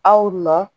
Aw nɔ